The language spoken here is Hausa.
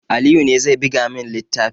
Aliyu ne zai buga min littafin